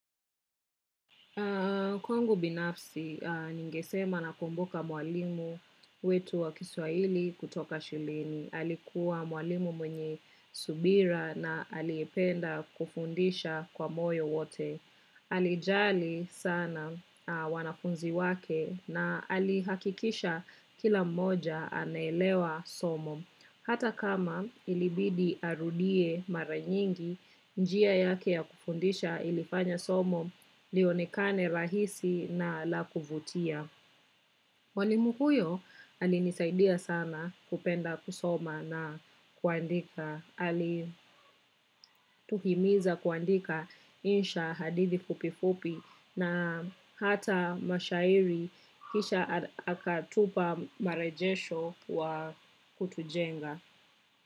Kwangu binafsi, ningesema na kumbuka mwalimu wetu wa kiswaili kutoka shuleni. Alikuwa mwalimu mwenye subira na aliyependa kufundisha kwa moyo wote. Alijali sana wanafunzi wake na alihakikisha kila mmoja anaelewa somo. Hata kama ilibidi arudie mara nyingi, njia yake ya kufundisha ilifanya somo lionekane rahisi na la kuvutia. Mwalimu huyo alinisaidia sana kupenda kusoma na kuandika, alituhimiza kuandika insha hadithi fupi fupi na hata mashairi kisha akatupa marajesho wa kutujenga.